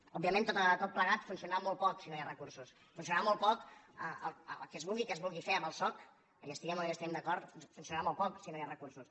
òbviament tot plegat funcionarà molt poc si no hi ha recursos funcionarà molt poc el que sigui que es vulgui fer amb el soc hi estiguem o no hi estiguem d’acord funcionarà molt poc si no hi ha recursos